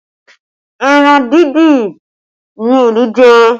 Ẹran dindin ni Olú jẹ